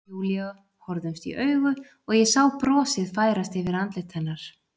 Júlía horfðumst í augu og ég sá brosið færast yfir andlit hennar.